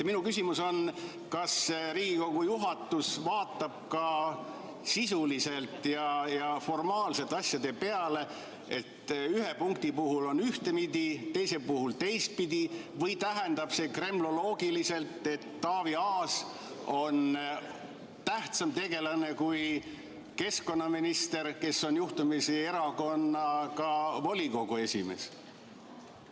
Minu küsimus on järgmine: kas Riigikogu juhatus vaatab asjadele ka sisuliselt ja formaalselt, et ühe punkti puhul on ühtpidi ja teise puhul teistpidi, või tähendab see kremloloogiliselt seda, et Taavi Aas on tähtsam tegelane kui keskkonnaminister, kes on juhtumisi erakonna volikogu esimees?